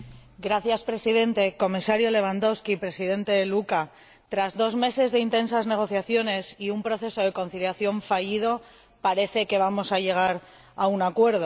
Señor Presidente, Comisario Lewandowski, Presidente Louca, tras dos meses de intensas negociaciones y un proceso de conciliación fallido, parece que vamos a llegar a un acuerdo.